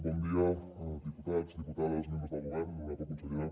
bon dia diputats diputades membres del govern honorable consellera